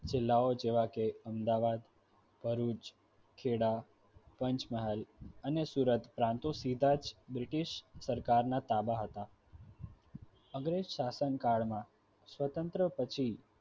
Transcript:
જિલ્લાઓ જેવા કે અમદાવાદ, ભરુચ, ખેડા, પંચમહાલ અને સુરત બ્રિટિશ સરકારના તાંબા હતા અંગ્રેજ શાસન કાળમાં સ્વતંત્ર પછી